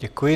Děkuji.